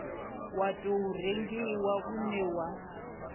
wa tou rengiwa une wa